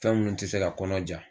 Fɛn minnu te se ka kɔnɔ ja